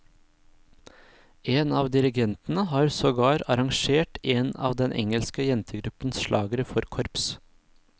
En av dirigentene har sogar arrangert en av den engelske jentegruppens slagere for korps.